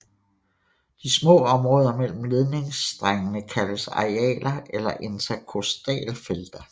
De små områder mellem ledningsstrengene kaldes arealer eller interkostalfelter